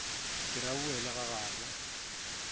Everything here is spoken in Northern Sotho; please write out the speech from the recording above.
ke re a boele gagabo